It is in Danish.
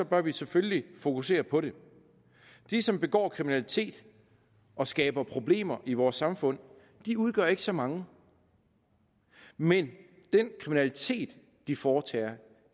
bør vi selvfølgelig fokusere på det de som begår kriminalitet og skaber problemer i vores samfund udgør ikke så mange men den kriminalitet de foretager og